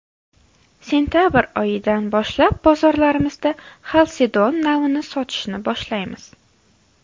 Sentabr oyidan boshlab bozorlarimizda ‘xalsedon’ navini sotishni boshlaymiz.